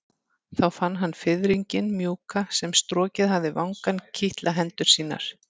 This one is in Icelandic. Þá fann hann fiðringinn mjúka sem strokið hafði vangann kitla hendur sínar.